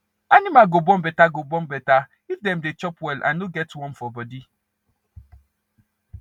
animal go born better go born better if dem dey chop well and no get worm for body